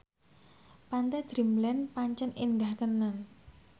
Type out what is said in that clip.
Pantai Dreamland pancen endah tenan